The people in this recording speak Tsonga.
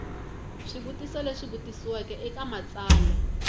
swivutiso leswi vutisiweke eka matsalwa